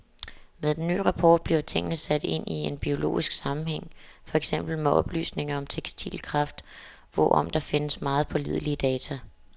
Med den ny rapport bliver tingene sat ind i en biologisk sammenhæng, for eksempel med oplysninger om testikelkræft, hvorom der findes meget pålidelige data.